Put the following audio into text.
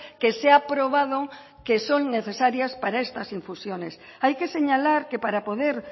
que se ha aprobado que son necesarias para estas infusiones hay que señalar que para poder